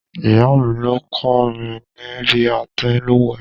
Ìyáà mi ló kọ́ mi ní bí a ti ń lùwẹ̀.